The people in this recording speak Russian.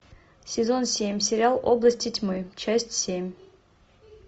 сезон семь сериал области тьмы часть семь